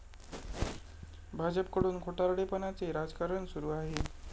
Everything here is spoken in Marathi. भाजपकडून खोटारडेपणाचे राजकारण सुरू आहे.